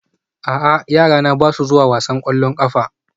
A'a yarana ba sa zuwa wasan ƙwallon ƙafa